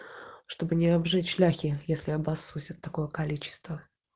чтобы не обжечь ляхи если обоссусь от такого количество